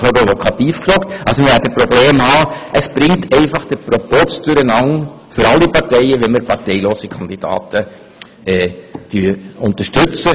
Wir werden Probleme haben, denn es bringt für alle Parteien den Proporz durcheinander, wenn wir parteilose Kandidaten berücksichtigen.